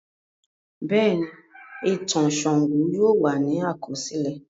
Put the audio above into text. Bẹ́ẹ̀ni, ìtàn Ṣàngó yóò wà ní àkọsílẹ̀.